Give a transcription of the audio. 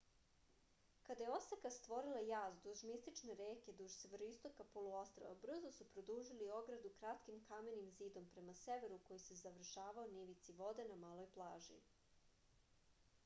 kada je oseka stvorila jaz duž mistične reke duž severoistoka poluostrva brzo su produžili ogradu kratkim kamenim zidom prema severu koji se završavao na ivici vode na maloj plaži